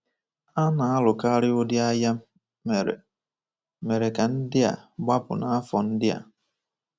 A na-alukarị ụdị agha mere mere ka ndị a gbapụ n’afọ ndị a.